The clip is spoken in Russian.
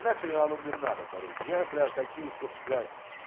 на хуй оно мне надо короче я бля хочу чтоб блять